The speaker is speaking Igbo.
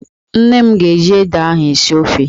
Nne m ga-eji ede ahụ esi ofe